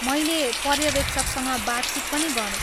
मैले पर्यवेक्षकसँग बातचित पनि गरेँ।